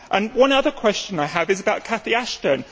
One other question I have is about Cathy Ashton.